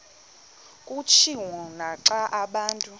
kutshiwo naxa abantu